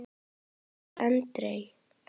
Sagði einhver aldrei?